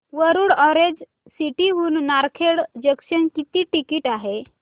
Warud orange city हून Narkhed junction किती ticket आहे